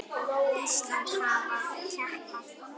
Íslands hafa skapað.